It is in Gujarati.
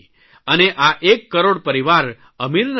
અને આ એક કરોડ પરિવાર અમીર નથી